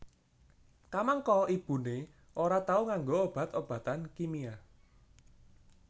Kamangka ibuné ora tau nganggo obat obatan kimia